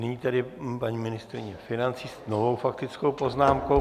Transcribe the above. Nyní tedy paní ministryně financí s novou faktickou poznámkou.